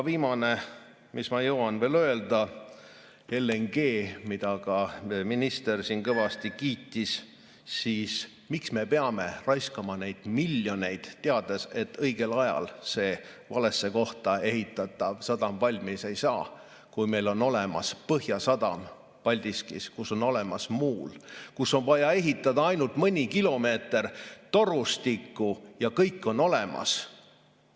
Viimane, mis ma jõuan veel öelda: LNG‑d ka minister siin kõvasti kiitis, aga miks me peame raiskama miljoneid, teades, et õigel ajal see valesse kohta ehitatav sadam valmis ei saa, kui meil on olemas Põhjasadam Paldiskis, kus on olemas muul, kuhu oleks vaja ehitada ainult mõni kilomeeter torustikku ja kõik oleks olemas?